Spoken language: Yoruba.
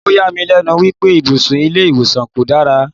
O yà mí lénu wípé ibùsùn ilé ìwòsàn kò dára.